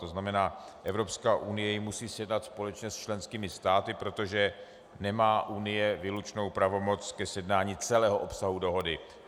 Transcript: To znamená, Evropská unie ji musí sjednat společně s členskými státy, protože nemá Unie výlučnou pravomoc ke sjednání celého obsahu dohody.